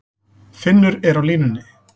Finnur er á línunni.